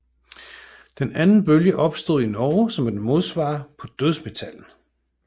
Den anden bølge opstod i Norge som et modsvar på dødsmetallen